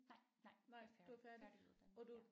Nej nej jeg er færdig færdiguddannet ja